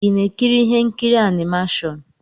Ị na-ekiri ihe nkiri animashon?